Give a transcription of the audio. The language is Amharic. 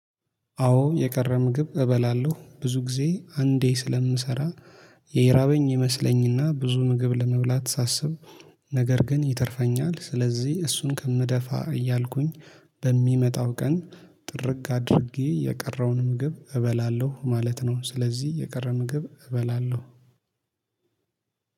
አዎ የቀረ ምግብ እበላለሁ ብዙ ጊዜ አንዴ ስለምሰራ የራበኝ ይመስለኝና ብዙ ምግብ ለመብላት ሳስብ ነገር ግን ይተርፈኛል ስለዚህ እሱን ከምደፋ እያልኩኝ በሚመጣው ቀን ጥርግ አድርጌ የቀረውን ምግብ እበላለሁ ማለት ነው። ስለዚህ የቀረ ምግብ እበላለሁ።